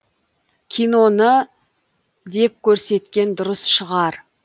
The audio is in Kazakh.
киноны деп көрсеткен дұрыс шығар